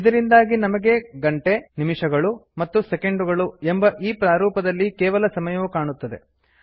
ಇದರಿಂದಾಗಿ ನಮಗೆ ಗಂಟೆ ನಿಮಿಷಗಳು ಮತ್ತು ಸೆಕೆಂಡುಗಳು hhmmಎಸ್ಎಸ್ ಎಂಬ್ ಈ ಪ್ರಾರೂಪದಲ್ಲಿ ಕೇವಲ ಸಮಯವು ಕಾಣುತ್ತದೆ